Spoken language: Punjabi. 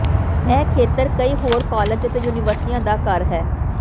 ਇਹ ਖੇਤਰ ਕਈ ਹੋਰ ਕਾਲਜ ਅਤੇ ਯੂਨੀਵਰਸਿਟੀਆਂ ਦਾ ਘਰ ਹੈ